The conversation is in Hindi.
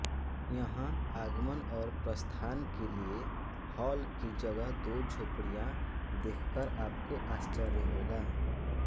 यहां आगमन और प्रस्थान के लिए हॉल की जगह दो झोपड़ियां देखकर आपको आश्चर्य होगा